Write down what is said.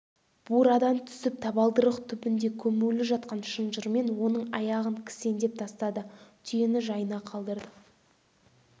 бурадан түсіп табалдырық түбінде көмулі жатқан шынжырмен оның аяғын кісендеп тастады түйені жайына қалдырды